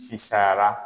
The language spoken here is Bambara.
Sisan